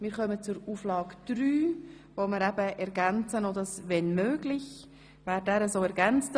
Wir kommen zu Auflage 3, die wir mit «wenn möglich» ergänzen.